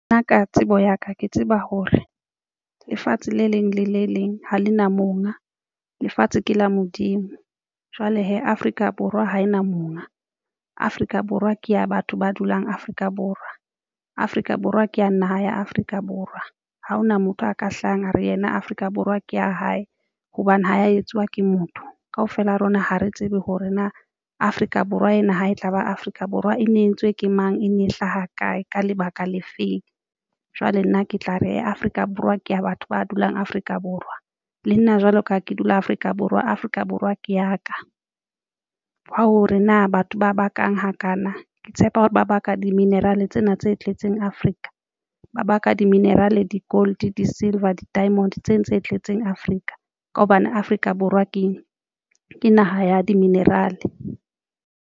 Nna ka tsebo ya ka ke tseba hore lefatshe le leng le le leng ha le na monga. Lefatshe ke la Modimo jwale hee Afrika Borwa ha ena monga Afrika Borwa ke ya batho ba dulang Afrika Borw. Afrika Borwa ke ya naha ya Afrika Borwa ha hona motho a ka hlahang a re yena Afrika Borwa ke ya hae hobane ho etsuwa ke motho kaofela a rona. Ha re tsebe hore na Afrika Borwa ena ha e tlaba Afrika Borwa e ne e entswe ke mang, e ne hlaha kae ka lebaka le feng, jwale nna ke tla reya Afrika Borwa ke ya batho ba dulang Afrika Borwa le nna, jwalo ka ha ke dula Afrika Borwa, Afrika Borwa ke ya ka hwa hore na batho ba bakang hakana ke tshepa hore ba baka di-mineral e tsena tse tletseng Afrika ba ka di-mineral, di-gold, di-silver diamond tsena tse tletseng Afrika ka hobane Afrika Borwa keng ke naha ya di mineral-e.